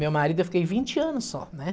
Meu marido, eu fiquei vinte anos só, né?